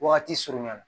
Wagati surunya na